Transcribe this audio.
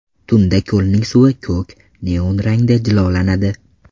Tunda ko‘lning suvi ko‘k neon rangda jilolanadi.